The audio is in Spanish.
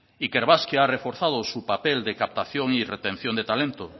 ikerbasque ha reforzado su papel de captación y retención de talento